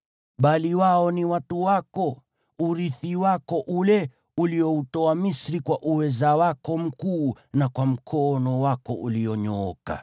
Bali wao ni watu wako, urithi wako ule ulioutoa Misri kwa uweza wako mkuu na kwa mkono wako ulionyooka.”